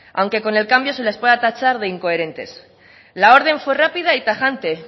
aunque con el cambio se les pueda tachar de incoherentes la orden fue rápida y tajante